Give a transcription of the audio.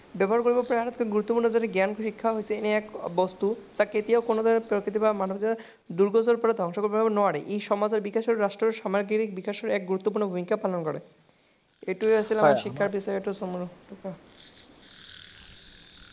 জ্ঞান শিক্ষা এনে এক বস্তু কোনোৱে ধ্বংস কৰিব নোৱাৰে। ই সমাজৰ ৰাষ্ট্ৰৰ সমতা বিকাশৰ গুৰুত্বপূৰ্ণ ভূমিকা পালন কৰে। এইটোৱেই আছিল আমাৰ শিক্ষা বিষয়।